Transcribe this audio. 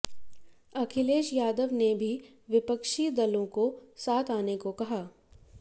अखिलेश यादव ने भी विपक्षी दलों को साथ आने को कहा